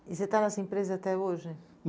E você está nessa empresa até hoje?